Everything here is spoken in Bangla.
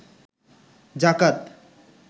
যাকাত